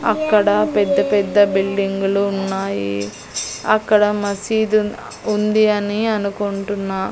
అక్కడ పెద్ద పెద్ద బిల్డింగులు ఉన్నాయి అక్కడ మసీదు ఉంది అని అనుకుంటున్నా.